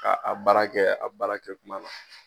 Ka a baara kɛ a baara kɛ kuma na